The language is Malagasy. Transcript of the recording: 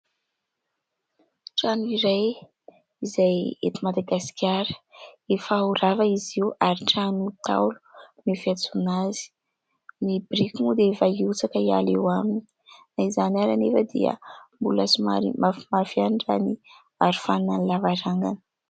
Trano iray izay eto madagasikara. Efa ho rava izy io ary trano Ntaolo no fiantsoana azy. Ny biriky moa dia efa hiotsaka hiala eo aminy. Na izany ary anefa dia mbola somary mafimafy ihany ny aro faninan'ny lavarangana.